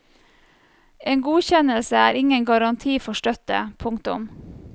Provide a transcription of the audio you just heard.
En godkjennelse er ingen garanti for støtte. punktum